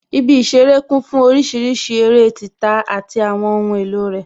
Ibi ìṣeré kún fún orísìírísìí eré títa àti àwọn ohun èlò rẹ